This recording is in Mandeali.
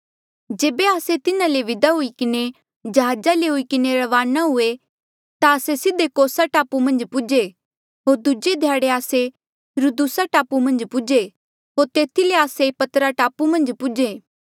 जेबे आस्से तिन्हा ले विदा हुई किन्हें जहाजा ले हुई किन्हें रवाना हुए ता आस्से सीधे कोसा टापू मन्झ पूजे होर दूजे ध्याड़े आस्से रुदुसा टापू मन्झ पूजे होर तेथी ले आस्से पतरा टापू मन्झ पूजे